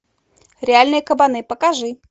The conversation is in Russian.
реальные кабаны покажи